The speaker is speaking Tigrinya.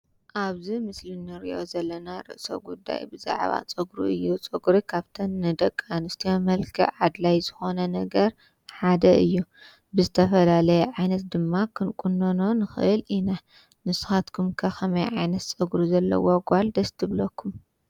ኣብዚ ምስሊ ንሪኦ ዘለና ርእሰ ጉዳይ ብዛዕባ ፀጉሪ እዩ። ፀጉሪ ካብተን ንደቂ ኣንስትዮ መልክዕ ኣድላዪ ዝኾነ ነገር ሓደ እዩ። ብዝተፈላለየ ዓይነት ድማ ክንቁኖኖ ንኽእል ኢና። ንስኻትኩምከ ከመይ ዓይነት ፀጉሪ ዘለዋ ጓል ደስ ትብለኩም?